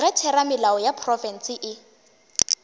ge theramelao ya profense e